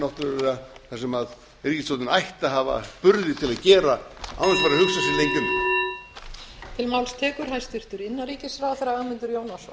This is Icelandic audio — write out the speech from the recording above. náttúrlega það sem ríkisstjórnin ætti að hafa burði til að gera án þess að fara að hugsa sig lengi um